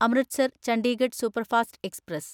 Amritsar Chandigarh superfast express